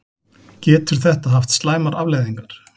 Getur þetta haft slæmar afleiðingar?